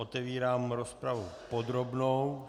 Otevírám rozpravou podrobnou.